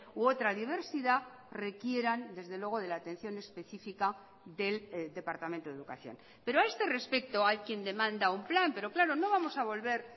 u otra diversidad requieran desde luego de la atención especifica del departamento de educación pero a este respecto hay quien demanda un plan pero claro no vamos a volver